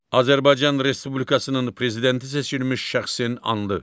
Azərbaycan Respublikasının prezidenti seçilmiş şəxsin andı.